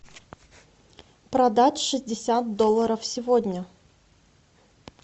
продать шестьдесят долларов сегодня